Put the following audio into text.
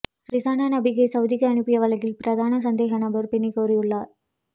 ரிஸானா நபீக்கை சவுதிக்கு அனுப்பிய வழக்கில் பிரதான சந்தேகநபர் பிணை கோரியுள்ளார்